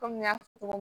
Kɔmi n y'a fɔ